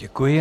Děkuji.